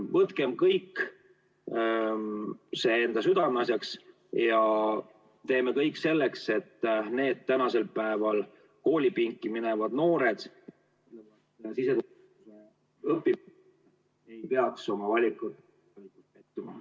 Võtkem kõik see enda südameasjaks ja tehkem kõik selleks, et koolipinki minevad noored, kes siseturvalisuse valdkonda õppima lähevad, ei peaks oma valikus pettuma.